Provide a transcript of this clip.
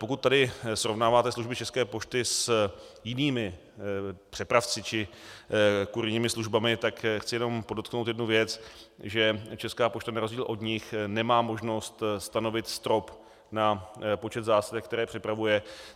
Pokud tady srovnáváte služby České pošty s jinými přepravci či kurýrními službami, tak chci jenom podotknout jednu věc, že Česká pošta na rozdíl od nich nemá možnost stanovit strop na počet zásilek, které přepravuje.